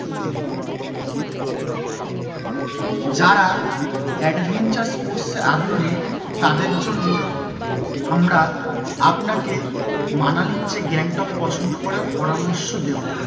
যারা adventure sports এ আগ্রহী তাদের জন্য আমরা আপনাকে মানালি এর চেয়ে গ্যাংটক পছন্দ করার পরামর্শ দেবো।